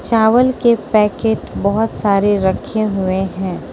चावल के पैकेट बहोत सारे रखे हुए हैं।